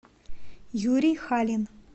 юрий халин